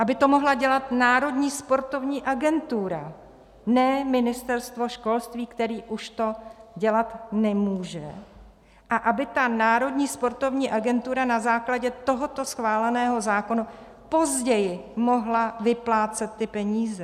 Aby to mohla dělat Národní sportovní agentura, ne Ministerstvo školství, které už to dělat nemůže, a aby ta Národní sportovní agentura na základě tohoto schváleného zákona později mohla vyplácet ty peníze.